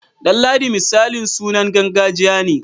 Danladi misali sunan gargajiya ne.